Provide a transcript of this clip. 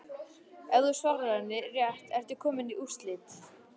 Ef þú svarar henni rétt ertu kominn í úrslit.